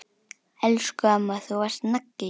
Elsku amma, þú varst nagli.